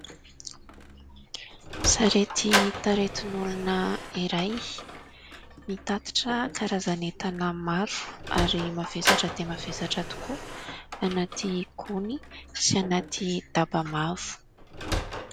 Sarety taritin'olona iray. Mitatitra karazan'entana maro ary mavesatra dia mavesatra tokoa. Anaty gony sy anaty daba mavo.